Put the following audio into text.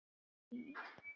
Nóg um það!